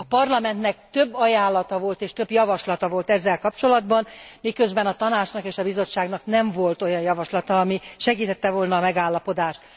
A Parlamentnek több ajánlata és több javaslata volt ezzel kapcsolatban, miközben a Tanácsnak és a Bizottságnak nem volt olyan javaslata, ami segítette volna a megállapodást.